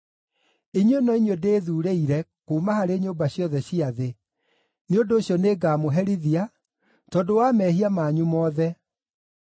“Inyuĩ no inyuĩ ndĩthuurĩire kuuma harĩ nyũmba ciothe cia thĩ; nĩ ũndũ ũcio nĩngamũherithia tondũ wa mehia manyu mothe.”